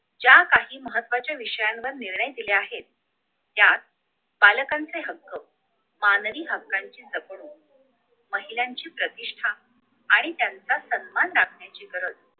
ज्या काही महत्वाच्या विषयांवर निर्णय दिले आहेत त्यात बालकांचे हक्क मानवी हक्कांची जपणूक महिलांची प्रतिष्ठा आणि त्यांचा सन्मान राखण्याची गरज